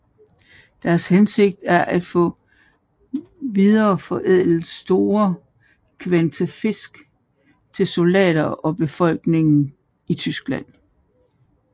Deres hensigt var at få videreforædlet store kvanta fisk til soldater og befolkningen i Tyskland